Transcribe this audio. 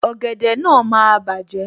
Ògèdè náà máa bàjẹ́